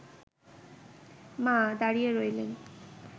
মা দাঁড়িয়ে রইলেন